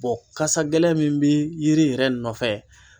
kasa gɛlɛn min bɛ yiri yɛrɛ nɔfɛ.